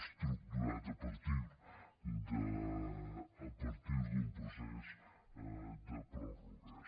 estructurat a partir d’un procés de pròrrogues